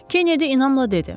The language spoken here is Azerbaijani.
Kennedy inamla dedi.